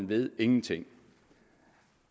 ved ingenting